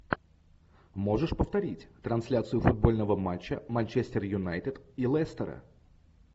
можешь повторить трансляцию футбольного матча манчестер юнайтед и лестера